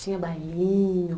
Tinha bailinho?